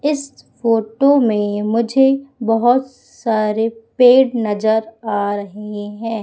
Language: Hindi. इस फोटो में मुझे बहुत सारे पेड़ नजर आ रही हैं।